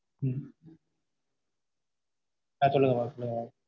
உம் அஹ் சொல்லுங்க mam சொல்லுங்க mam